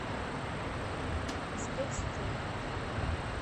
спецстрой